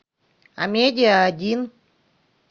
а медиа один